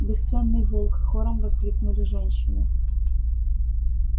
бесценный волк хором воскликнули женщины